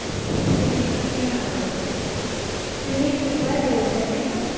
swimming મને નહિ આવડતું swimming શીખવા જેવું છે નહિ પણ?